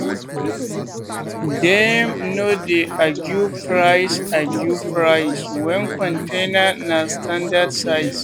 dem no dey argue price argue price when container na standard size.